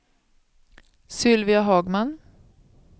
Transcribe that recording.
Sylvia Hagman